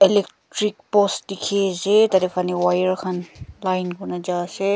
electric post dikhe ase tar te wire khan line kori na ja ase.